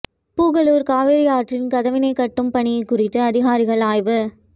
புகழூர் காவிரி ஆற்றில் கதவணை கட்டும் பணி குறித்து அதிகாரிகள் ஆய்வு